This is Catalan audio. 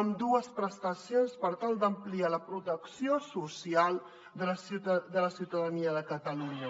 ambdues prestacions per tal d’ampliar la protecció social de la ciutadania de catalunya